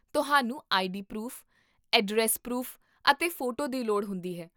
ਤੁਹਾਨੂੰ ID proof, address proof ਅਤੇ photo ਦੀ ਲੋੜ ਹੁੰਦੀ ਹੈ